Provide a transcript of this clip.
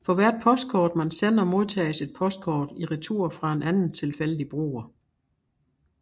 For hvert postkort man sender modtages et postkort i retur fra en anden tilfældig bruger